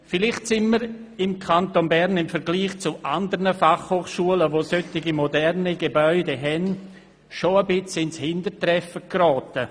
Vielleicht sind wir im Kanton Bern im Vergleich zu anderen Fachhochschulen, welche moderne Gebäude haben, ein Stück weit ins Hintertreffen geraten.